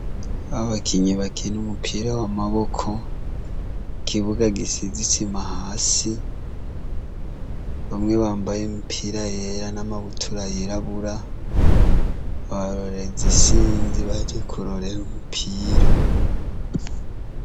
Abakinyi bakina umupira w'amaboko, kibuga gisizisima hasi bamwe bambaye imipira yera n'amabutura yirabura, abarorezi isinzi baje kurorera umupira.